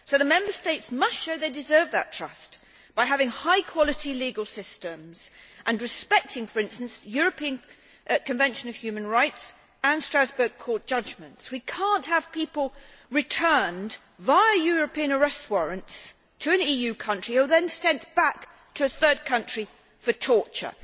So the Member States must show they deserve that trust by having high quality legal systems and respecting, for instance, the European Convention on Human Rights and Strasbourg court judgements. We cannot have people returned, via European arrest warrants, to an EU country who are then sent back to a third country for torture.